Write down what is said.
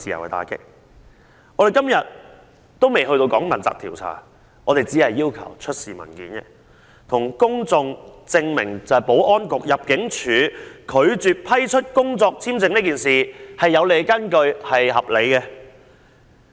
我們至今仍未談到問責及調查，我們只是要求當局出示文件，以便向公眾證明保安局及入境處拒絕批出工作簽證是有根據和合理的。